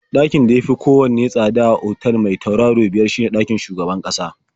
Ɗakin da ya fi kowanne tsada a otal mai turaro biyar shine ɗakin shugaban ƙasa.